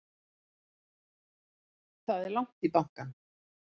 Það er langt í bankann!